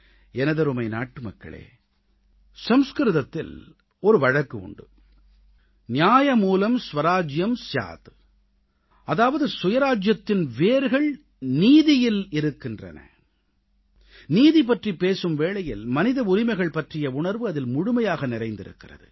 எனதருமை நாட்டுமக்களே சம்ஸ்கிருதத்தில் ஒரு வழக்கு உண்டு நியாயம்மூலம் ஸ்வராஜ்யம் ஸ்யாத் அதாவது சுயராஜ்ஜியத்தின் வேர்கள் நீதியில் இருக்கிறது நீதி பற்றிப் பேசும் வேளையில் மனித உரிமைகள் பற்றிய உணர்வு அதில் முழுமையாக நிறைந்திருக்கிறது